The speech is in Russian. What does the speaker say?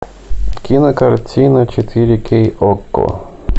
кинокартина четыре кей окко